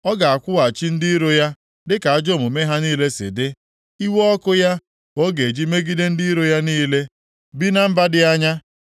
Ọ ga-akwụghachi ndị iro ya dịka ajọ omume ha niile si dị. Iwe ọkụ ya ka ọ ga-eji megide ndị iro ya niile bi na mba dị anya.